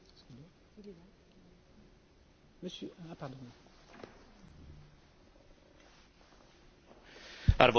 Arvoisa puhemies, kiitän kollega Tarabellaa ja kollega Juvinia hienosta ja arvokkaasta työstä.